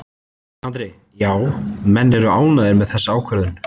Andri: Já, menn eru ánægðir með þessa ákvörðun?